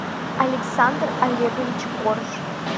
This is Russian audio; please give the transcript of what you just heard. александр олегович корж